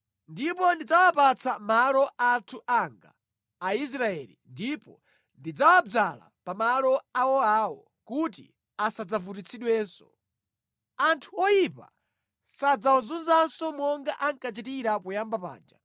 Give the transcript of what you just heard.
Ndipo ndidzawapatsa malo anthu anga, Aisraeli ndipo ndidzawadzala pamalo awoawo kuti asadzavutitsidwenso. Anthu oyipa sadzawazunzanso monga ankachitira poyamba paja;